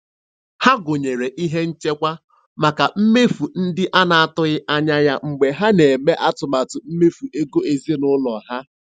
Ha gụnyere ihe nchekwa maka mmefu ndị a na-atụghị anya ya mgbe ha na-eme atụmatụ mmefu ego ezinụlọ ha.